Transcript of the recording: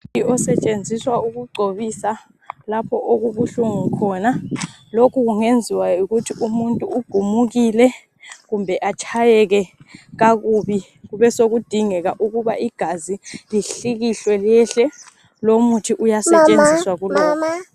Umuthi osetshenziswa ukugcoba lapha okubuhlungu khona lokhu kungenziwa yikuthi umuntu ugumukile kumbe atshayeke kakubi kube sokudingeka ukuthi umuntu ahlikihle lomuthi uyasetshenziswa kulokhu